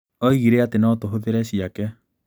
Oigire atĩ no tũhũthĩre cĩake.